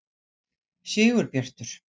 Sigurbjartur